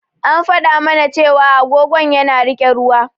An faɗa mana cewa agogon yana riƙe ruwa.